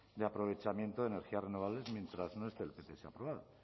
de aprovechamiento de energías renovables mientras no esté el pts aprobado